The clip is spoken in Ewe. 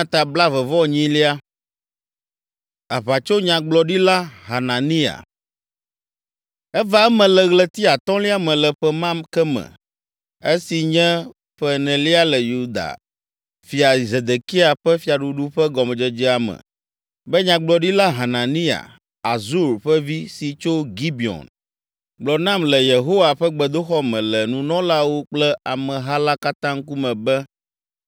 Eva eme le ɣleti atɔ̃lia me le ƒe ma ke me, esi nye ƒe enelia le Yuda fia Zedekia ƒe fiaɖuɖu ƒe gɔmedzedzea me be Nyagblɔɖila Hananiya, Azur ƒe vi si tso Gibeon gblɔ nam le Yehowa ƒe gbedoxɔ me le nunɔlawo kple ameha la katã ŋkume be,